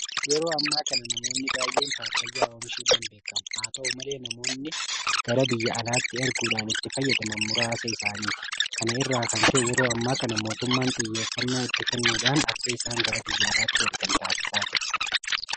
Yeroo ammaa kana namoonni baay'een Paappaayyaa oomishuudhaan beekamu. Haata'u malee namoonni gara biyya alaatti erguudhaan itti fayyadaman muraasa isaaniiti. Kana irraa kan ka'e yeroo ammaa kana mootummaan xiyyeeffannaa itti kennuudhaan akka isaan gara biyya alaatti ergan taasisaa jira.